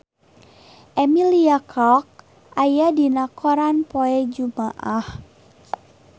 Emilia Clarke aya dina koran poe Jumaah